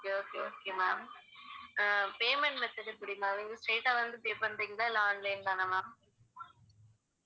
okay okay okay ma'am ah payment method எப்படி ma'am நீங்க straight ஆ வந்து pay பண்றிங்களா இல்ல online தானா ma'am